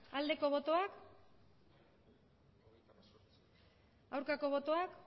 aldeko botoak aurkako botoak